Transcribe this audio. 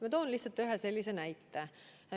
Ma toon lihtsalt ühe näite.